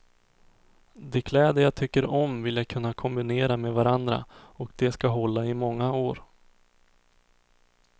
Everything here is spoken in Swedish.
De kläder jag tycker om vill jag kunna kombinera med varandra och de ska hålla i många år.